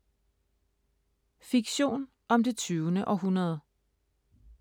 Fiktion om det tyvende århundrede